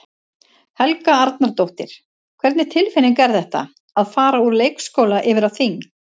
Helga Arnardóttir: Hvernig tilfinning er þetta, að fara úr leikskóla yfir á þing?